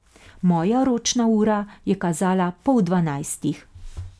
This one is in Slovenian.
Moja ročna ura je kazala pol dvanajstih.